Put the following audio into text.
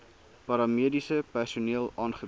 paramediese personeel aangebied